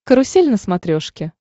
карусель на смотрешке